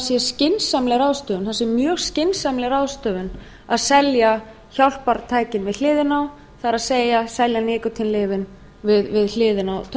sé mjög skynsamleg ráðstöfun að selja hjálpartækin við hliðina á það er selja nikótínlyfin við hliðina á tóbakinu